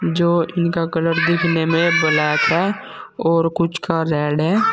जो इनका कलर दिखने में ब्लैक है और कुछ का रेड है।